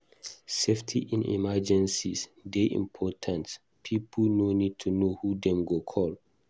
Safety in emergencies dey important; pipo need to know who dem go call.